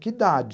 Que idade?